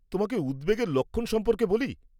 তোমাকে উদ্বেগের লক্ষণ সম্পর্কে বলি।